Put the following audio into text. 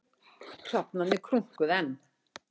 Hrafnarnir krunkuðu enn.